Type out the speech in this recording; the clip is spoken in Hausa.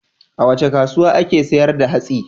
A wace kasuwa ake sayar da hatsi?